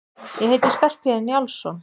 Ég heiti Skarphéðinn Njálsson!